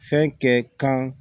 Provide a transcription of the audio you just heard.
Fɛn kɛ kan